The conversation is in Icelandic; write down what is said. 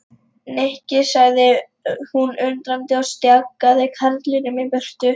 Nikki sagði hún undrandi og stjakaði karlinum í burtu.